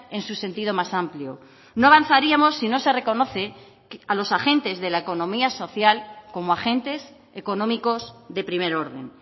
en su sentido más amplio no avanzaríamos si no se reconoce a los agentes de la economía social como agentes económicos de primer orden